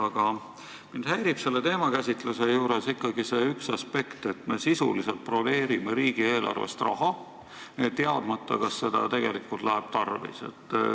Aga mind häirib selle teemakäsitluse juures ikkagi see aspekt, et me sisuliselt broneerime riigieelarvest raha, teadmata, kas seda tegelikult tarvis läheb.